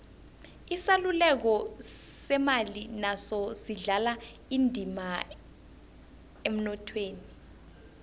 isaluleko semali naso sidlala indima emnothweni